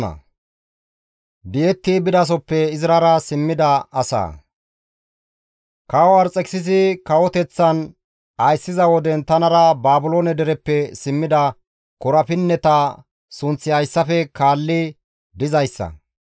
Kawo Arxekisisi kawoteththan ayssiza woden tanara Baabiloone dereppe simmida korapinneta sunththi hayssafe kaalli dizayssa;